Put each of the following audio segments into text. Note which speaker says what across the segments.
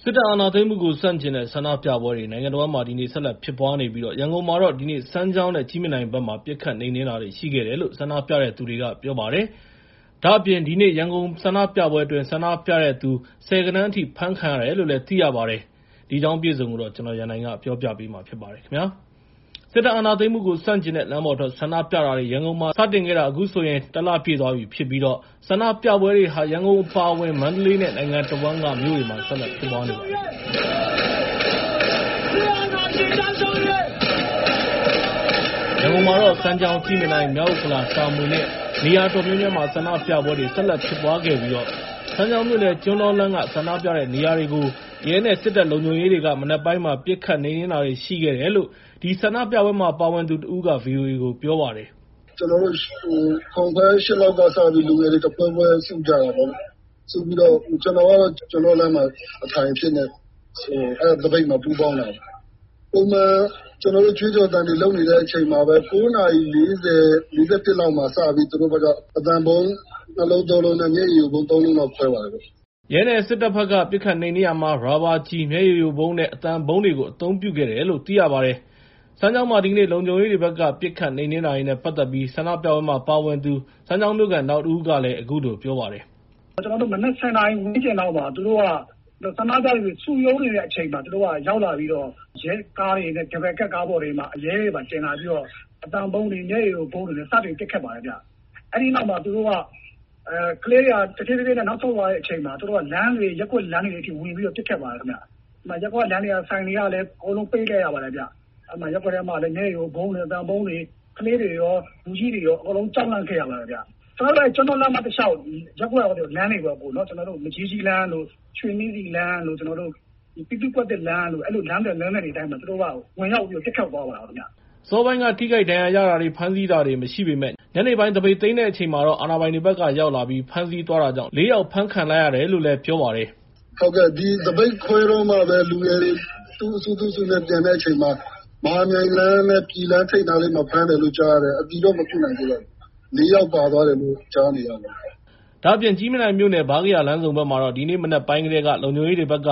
Speaker 1: စစ်အာဏာသိမ်းမှုကိုဆန့်ကျင်တဲ့ ဆန္ဒပြပွဲတွေ နိုင်ငံတဝန်းမှာ ဆက်လက်ဖြစ်ပွားနေပြီး ရန်ကုန်မှာတော့ ဒီနေ့ စမ်းချောင်းနဲ့ ကြည့်မြင်တိုင်ဘက်မှာ ပစ်ခတ်နှိမ်နှင်းတာတွေ ရှိခဲ့တယ်လို့ ဆန္ဒပြတဲ့သူတွေက ပြောပါတယ်။ ဒါ့အပြင် ဒီနေ့ ရန်ကုန်ဆန္ဒပြပွဲအတွင်း ဆန္ဒပြတဲ့သူ ဆယ်ဂဏန်းအထိ အဖမ်းခံရတယ်လို့လည်း သိရပါတယ်။ ဒီအကြောင်းအပြည့်အစုံကို ကိုရန်နိုင်က ပြောပြပေးမှာဖြစ်ပါတယ်။ စစ်အာဏာသိမ်းမှုကိုဆန့်ကျင်တဲ့ လမ်းပေါ်ထွက်ဆန္ဒပြပွဲတွေ ရန်ကုန်မှာစတင်ခဲ့တာ အခုဆိုရင် ၁ လ ပြည့်သွားပြီဖြစ်ပြီး ဆန္ဒပြပွဲတွေဟာ ရန်ကုန်အပါအဝင် မန္တလေးနဲ့ နိုင်ငံတဝန်းကမြို့တွေမှာ ဆက်လက်ဖြစ်ပွားနေပါတယ်။ ရန်ကုန်မြို့မှာတော့ စမ်းချောင်း၊ ကြည့်မြင်တိုင်၊ မြောက်ဥက္ကလာ၊ တာမွေနဲ့ နေရာအတော်များများမှာ ဆန္ဒပြပွဲတွေ ဆက်လက် ဖြစ်ပွားခဲ့ပြီး စမ်းချောင်းမြိ့နယ် ကျွန်းတောလမ်းက ဆန္ဒပြတဲ့နေရာကိုတော့ ရဲနဲ့ စစ်တပ်လုံခြုံရေးတွေက မနက်ပိုင်းမှာ ပစ်ခတ်နှိမ်နှင်တာတွေရှိခဲ့တယ်လို့ အဲဒီ ဆန္ဒပြပွဲမှာပါဝင်သူတဦးက ဗီအိုအေကို ပြောပါတယ်။
Speaker 2: “ကျနော်တို့ ၇ နာရီခွဲ ၈ နာရီ လောက်မှာ လူငယ်တွေတဖွဲဖွဲစုကြပါတယ်။ စုပြီးတော့ ကျနော်ကတော့ ကျွန်းတောလမ်းမှာ အထိုင်အဖြစ်နဲ့ အဲဒီသပိတ်မှာ ပူးပေါင်းပါတယ်။ ပုံမှန်ကျနော်တို့ ကြွေးကြော်သံတွေလုပ်နေတဲ့အချိန်မှာပဲ ၉ နာရီ ၄၀ လောက်မှာ စပြီး သူတို့ဘက်က အသံဗုံး ၂ လုံး ၃ လုံး နဲ့ မျက်ရည်ယိုဗုံး ၃ လုံးလောက်ခွဲပါတယ်။
Speaker 1: ” ရဲနဲ့စစ်တပ်ဘက်က ပစ်ခတ်နှိမ်နင်းရာမှာ ရာဘာကျည်၊ မျက်ရည်ယိုဗုံးနဲ့ အသံဗုံးတွေကို အသုံးပြုခဲ့တယ်လို့ သိရပါတယ်။ စမ်းချောင်းမှာ ဒီကနေ့ လုံခြုံရေးတွေဘက်က ပစ်ခတ်နှိမ်နှင်းတာတွေနဲ့ပတ်သက်ပြီး ဆန္ဒပြပွဲတွေမှာပါဝင်တဲ့ စမ်းချောင်းမြို့ခံ နောက်တဦးကလည်း အခုလို ပြောပါတယ်
Speaker 3: ။ “ကျနော်မနက် ၁၀ နာရီဝန်းကျင်လောက် ဆန္ဒပြတဲ့သူတွေ စုရုံးနေတဲ့အချိန်လောက်မှာ သူတို့က ရောက်လာပြီးတော့ ရဲကားတွေ၊ ဒယ်ဘယ်ကပ်ကားတွေပေါ်မှာ ရဲတွေတင်လာပြီးတော့ အသံဗုံးတွေ၊ မျက်ရည်ယိုဗုံးတွေနဲ့ စတင်ပစ်ခတ်ပါတယ်။ အဲဒီနောက် သူတို့က ကလေးတွေက တဖြည်းဖြည်းနဲ့ နောက်ဆုတ်လာတဲ့အချိန်မှာ လမ်းတွေ၊ ရပ်ကွက်လမ်းတွေထဲကို ဝင်ပြီးတော့ ပစ်ခတ်ပါတယ်ခင်ဗျ။ အဲဒီမှာ ရပ်ကွက်လမ်းတွေ၊ ဆိုင်တွေလည်း ပိတ်လိုက်ရပါတယ်။ ရပ်ကွက်ထဲမှာလည်း မျက်ရည်ယိုဗုံးတွေ၊ အသံဗုံးတွေ၊ ကလေးတွေရော လူကြီးတွေရော အကုန်လုံးကြောက်လန့်ခဲ့ရပါတယ်ခင်ဗျာ။ ကျနော်တို့ ကျွန်းတောလမ်းမ တလျှောက် ရပ်ကွက်လမ်းတွေပေါ့၊ မကြီးကြီးလမ်း၊ ရွှေနှင်းဆီလမ်း၊ ပြည်သူ့ကွက်သစ်လမ်းတို့ စတဲ့ လမ်းသွယ်တွေ လမ်းသွယ်တွေတိုင်းမှာ သူတို့ကဝင်ပြီးတော့ ပစ်ခတ်သွားတယ်။”
Speaker 1: အစောပိုင်းမှာ ထိခိုက်ဒဏ်ရာရတာတွေ ၊ ဖမ်းဆီးတာတွေမရှိပေမယ့် ညနေပိုင်းမှာ သပိတ်သိမ်းတဲ့အချိန်မှာတော့ အာဏာပိုင်တွေဘက်က ဖမ်းဆီးရောက်လာပြီး ဖမ်းဆီးသွားတာကြောင့် ၄ ယောက်လောက် ဖမ်းဆီးခံလိုက်ရတယ်လို့ ပြောပါတယ်။ “သပိတ်ခ
Speaker 2: ွဲတော့မှပဲ လူငယ်တွေ သူ့အစု သူ့အစုနဲ့ သူပြန်တဲ့အချိန်မှာ မဟာမြိုင်လမ်းနဲ့ ပြည်လမ်းထိပ်မှာ ဖမ်းတယ် လို့ ကြားရတယ်။ အတည်တော့ မပြုနိုင်သေးပါဘူး ၊ ၄ ယောက်လောက် ဖမ်းခံထားရတယ်လို့ ကြားပါတယ်။”
Speaker 1: ဒါ့အပြင် ကြည့်မြင်တိုင်မြို့နယ် ဗားကရာလမ်းဆုံဘက်မှာတော့ ဒီနေ့ မနက်ပိုင်းကတည်းက လုံခြုံရေးတွေဘက်က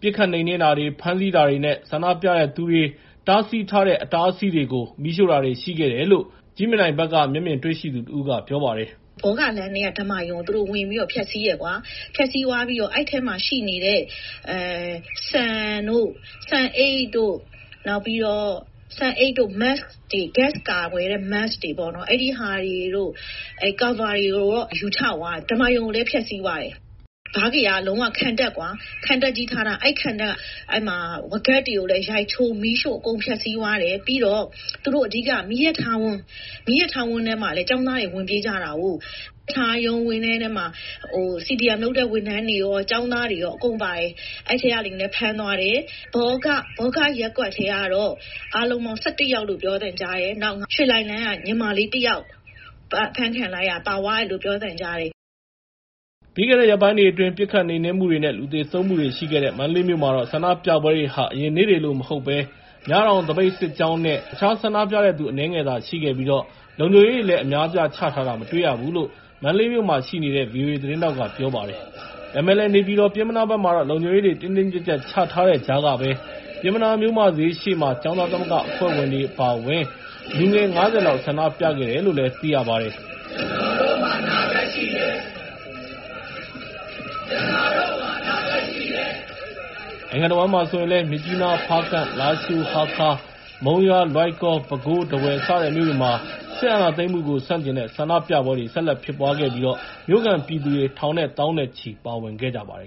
Speaker 1: ပစ်ခတ်နှိမ်နှင်းတာတွေ၊ ဖမ်းဆီးတာတွေ နဲ့ ဆန္ဒပြတဲ့သူတွေဘက်က တားဆီးထားတဲ့ အတားအဆီးတွေကို မီးရှို့ တာတွေလည်း ရှိခဲ့တယ်လို့ ကြည့်မြင်တိုင်မြို့နယ်က မျက်မြင်တွေ့ရှိသူတဦးက ပြောပါတယ်။
Speaker 4: “ဘောဂလမ်းထဲက ဓမ္မာရုံကို သူတို့ ဝင်ပြီးတော့ ဖျက်ဆီးတယ်။ ဖျက်ဆီးသွားပြီးတော့ အဲဒီထဲမှာ ရှိနေတဲ့ ဆန်၊ ဆန်အိတ်၊ နှာခေါင်းစည်း (Mask) တွေ၊ ဂတ်စ်ကာကွယ်တဲ့ Mask တွေ နဲ့ ကာဗာတွေကို ယူချသွားတယ်။ ဓမ္မာရုံ ကိုလည်း ဖျက်ဆီးသွားတယ်။ ဗားကရာက လုံးဝခံတပ်ကွာ၊ ခံတပ်ကြီးလုပ်ထားတာ။ အဲဒီခံတပ်က ဝါးကပ်တွေကိုလည်း ရိုက်ချိုး၊ မီးရှို့အကုန်ဖျက်ဆီးသွားတယ်။ ပြီးတော့ သူတို့က အဓိက မီးရထားဝင်း၊ မီးရထားဝင်းထဲကို ကျောင်းသားတွေ ဝင်ပြေးသွားကြတာကိုး။ မီးရထားဝင်းထဲမှာ ကျောင်းသားတွေရော CDM လုပ်တဲ့ ဝန်ထမ်းတွေရော အကုန်ပါတယ်။ အဲဒီထဲကလူတွေလည်း ဖမ်းသွားတယ်။ ဘောဂရပ်ကွက်ထဲကတော့ အားလုံးပေါင်း ၁၁ ယောက်လို့ ပြောသံကြားတယ်။ နောက် ရွှေလှိုင်လမ်းက ညီမလေးတယောက်ပါသွားတယ်လို့ ပြောသံကြားပါတယ်။”
Speaker 1: ပြီးခဲ့တဲ့ရက်ပိုင်းတွေအတွင်း ပစ်ခတ်နှိမ်နှင်းမှုတွေ နဲ့ လူသေဆုံးမှုတွေရှိခဲ့တဲ့ မန္တလေးမြို့မှာတော့ ဆန္ဒပြပွဲတွေဟာ အရင်နေ့တွေကလို မဟုတ်ဘဲ ၊ မြတောင် သပိတ်စစ်ကြောင်းနဲ့ အနည်းငယ်သာရှိခဲ့ပြီး၊ လုံခြုံရေးတွေလည်း အများအပြားချထားတာ မတွေ့ရဘူးလို့ မန္တလေးမြို့မှာရှိနေတဲ့ ဗီအိုအေသတင်းထောက်က ပြောပါတယ်။ ဒါပေမဲ့လည်း နေပြည်တော်နဲ့ပျဉ်းမနားဘက်မှာတော့ လုံခြုံရေးတွေ တင်းတင်းကြပ်ကြပ်ချထားတဲ့ကြားကပဲ ပျဉ်းမနားမြို့မဈေးရှေ့မှာ ကျောင်းသားသမဂ္ဂအဖွဲ့ဝင်တွေ လူငယ် ၅၀ လောက် ဆန္ဒပြခဲ့ကြတယ်လို့ သိရပါတယ်။
Speaker 3: န
Speaker 1: ိုင်ငံတဝန်းမှာဆိုရင်လည်း မြစ်ကြီးနား၊ ဖားကန့်၊ လားရှိုး၊ ဟားခါး၊ မုံရွာ၊ လွိုင်ကော်၊ ပဲခူး၊ ထားဝယ်စတဲ့မြို့တွေမှာလည်း စစ်အာဏာသိမ်မှုကို ဆန့်ကျင်တဲ့ဆန္ဒပြပွဲတွေ ဆက်လက်ဖြစ်ပွားခဲ့ပြီး မြို့ခံပြည်သူတွေ ထောင်နဲ့သောင်းနဲ့ချီပြီပါဝင်ခဲ့ကြပါတယ်